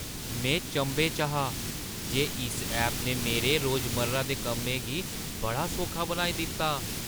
में चंभे च हा जे इस ऐप ने मेरे रोजमर्रा दे कम्में गी बड़ा सौखा बनाई दित्ता ।